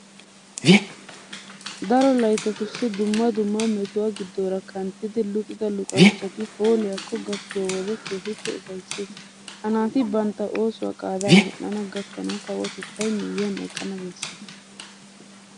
Daro layttatussi dumma dumma metuwa giddoora kanttidi luxida luxanchchati hoolliyakko gakkiyo wode keehippe ufayssees. Ha naati bantta oosuwa qaadaa medhdhana gakkanawu kawotettay miyyiyan eqqana bessees.